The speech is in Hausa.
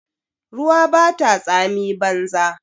Ruwa bata tsami banza